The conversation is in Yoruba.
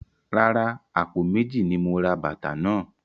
Rárá, àpò méjì ni mo ra bàtà náà.